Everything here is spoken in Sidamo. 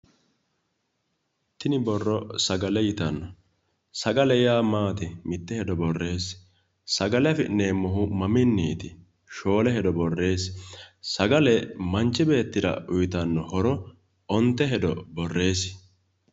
Tini borro sagale yittano, sagale yaa maati ,sagale afi'neemmohu maminiti? shoole hedo borreesse!! Manchi beettira uyittano horo Onte hedo borreesi